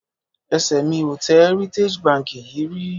Ẹsẹ̀ mi ò tẹ Heritage Bank yìí rí